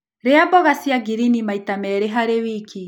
Rĩa mboga cia ngirini maĩta merĩ harĩ wĩkĩ